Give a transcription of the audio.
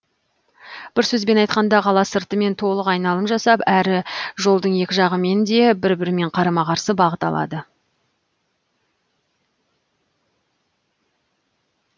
бір сөзбен айтқында қала сыртымен толық айналым жасап әрі жолдың екі жағымен де бір бірімен қарама қарсы бағыт алады